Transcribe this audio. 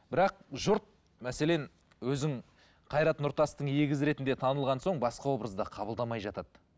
бірақ жұрт мәселен өзің қайрат нұртастың егізі ретінде танылған соң басқа образда қабылдамай жатады